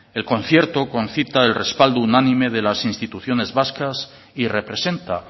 el concierto concita el respaldo unánime de las instituciones vascas y representa